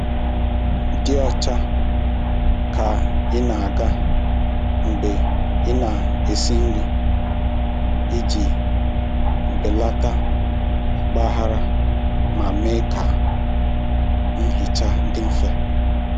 Dị ọcha ka ị na-aga mgbe ị na-esi nri iji belata ọgbaghara ma mee ka nhicha dị mfe.